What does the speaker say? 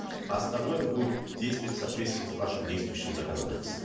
остальное будет действовать в соответствии с нашим действующим законодательством